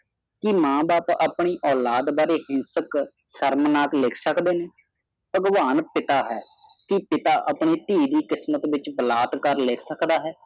ਕੀ ਮੈਂ ਬਾਪ ਆਪਣੀ ਔਲਾਦ ਹਿੰਸਕ ਸ਼ਰਮਨਾਕ ਲਿਖ ਸਕਦੇ ਨੇ ਭਗਵਾਨ ਪਿਤਾ ਹੈ ਕਿ ਪਿਤਾ ਆਪਣੀ ਥੀ ਦੀ ਕਿਸਮਤ ਵਿਚ ਬਲੱਥ ਕਰ ਲਿਖ ਸਕਦਾ ਹੈ